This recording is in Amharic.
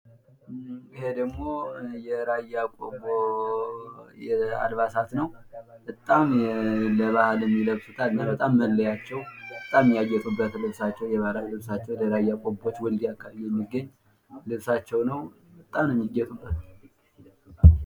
ይህ ደግሞ የራያ ቆቦ አልባሳት ነው። በጣም ለባህል ይለብሱታል። በጣም መለያቸው በጣም የሚያጌጡበት ባህላዊ ልብሳቸው የራያ ቆቦዎች ወልድያ አካባቢ የሚገኝ ልብሳቸው ነው በጣም ነው የሚያጌጡበት።